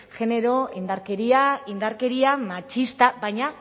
genero indarkeria indarkeria matxista baina